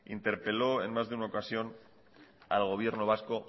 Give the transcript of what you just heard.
interpeló en más de una ocasión al gobierno vasco